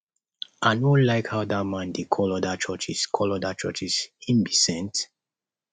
i no like how dat man dey call other churches call other churches him be saint